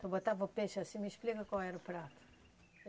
Tu botava o peixe assim, me explica qual era o prato.